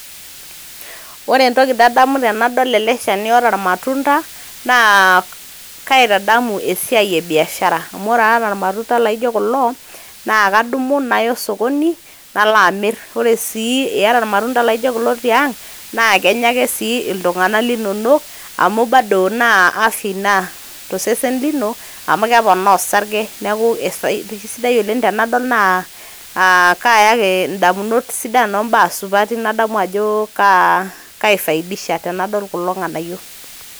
Ore entoki nadamu tenadol ele shani oata irmatunda naa kaitadamu esiai e biashara amu ore aata irmatunda laijo kulo naake adumu naya osokoni, nalo amir. Ore sii iyata iramatunda laijo kulo tiang' naa kenya ake sii iltung'anak linonok amu bado naa afya ina to sesen lino amu keponaa orsarge. Neeku kesidai oleng' tenadol naa aa kayaki indamunot sidan ombaa supati nadamu ajo kaifaidisha tenadol kulo ng'anayio.